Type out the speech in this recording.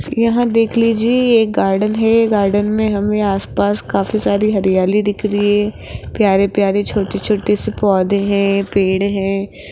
यहां देख लीजिए ये एक गार्डन है गार्डन में हमें आस पास काफी सारी हरियाली दिख रही है प्यारे प्यारे छोटे छोटे से पौधे हैं पेड़ हैं।